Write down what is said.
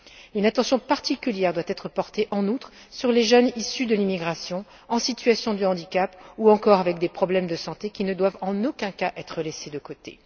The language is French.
En outre, une attention particulière doit être portée aux jeunes issus de l'immigration, en situation de handicap ou encore avec des problèmes de santé, et qui ne doivent en aucun cas être laissés de côté.